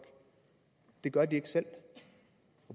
og det gør de ikke selv